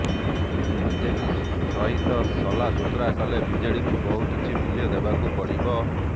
BJP ସହିତ ସଲା ସୁତରା କଲେ ବିଜେଡ଼ିକୁ ବହୁ କିଛି ମୂଲ୍ୟ ଦେବାକୁ ପଡ଼ିବ